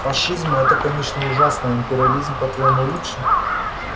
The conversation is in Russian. фашизм это конечно ужасно а империализм по твоему лучше